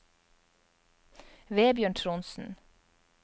Vebjørn Trondsen